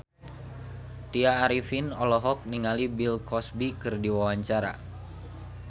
Tya Arifin olohok ningali Bill Cosby keur diwawancara